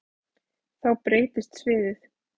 Þá breytist sviðið.